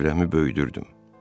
Çevrəmi böyüdürdüm.